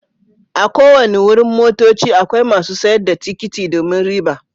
A' ko wanni wurin motocci akwai masun sayar da tikiti domin riba.